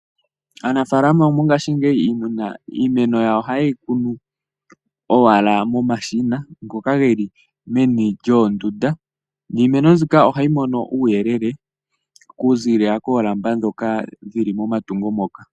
Aanafalama mongashingeyi iimeno yawo ohayeyi kunu owala momashina. Ngoka geli meni lyoondunda. Niimeno mbyika ohayi mono uuyelele ku zilila koolamba dhoka dhili momatungo moka.